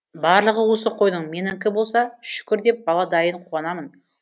барлығы осы қойдың менікі болса шүкір деп бала дайын қуанамын